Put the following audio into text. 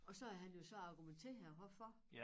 Og så havde han jo så argumenteret hvorfor